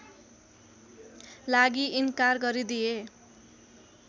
लागि इन्कार गरिदिए